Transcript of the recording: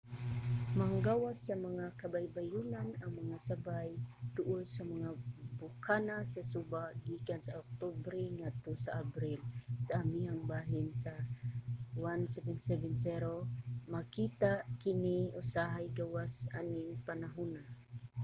manggawas sa mga kabaybayonan ang mga sabay duol sa mga bokana sa suba gikan sa oktubre ngadto sa abril sa amihang bahin sa 1770. makita usab kini usahay gawas aning mga panahuna